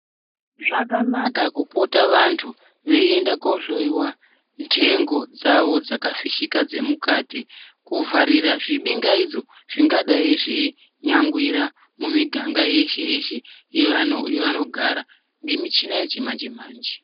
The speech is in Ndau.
Zvakanaka kupota vantu veienda koohloiwa ndengo dzavo dzakafishika dzemukati kuvharira zvibingaidzo zvingadai zveinyangwira mumiganga yeshe-yeshe yevanogara ngemichina yechimanje-manje.